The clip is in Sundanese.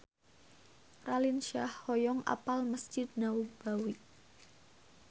Raline Shah hoyong apal Mesjid Nabawi